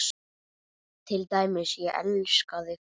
Til dæmis: Ég elska þig.